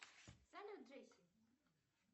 салют джейси